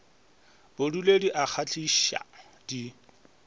bodule di a kgahliša di